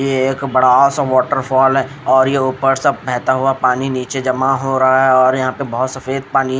ये एक बड़ा सा वाटरफॉल है और ये ऊपर सब बहता हुआ पानी नीचे जमा हो रहा है और यहाँ पे बहुत सफेद पानी है।